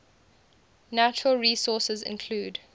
natural resources include